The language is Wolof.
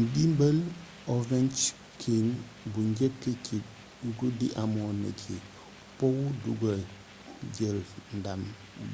ndimbal ovechkin bu njëkk ci guddi amoon na ci powu duggal jël ndam